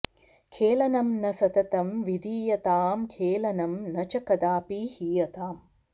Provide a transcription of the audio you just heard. खेलनं न सततं विधीयताम् खेलनं न च कदापि हीयताम्